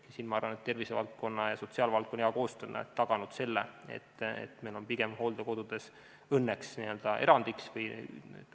Siin ma arvan, et tervisevaldkonna ja sotsiaalvaldkonna hea koostöö on taganud selle, et meil on hooldekodud õnneks pigem erand.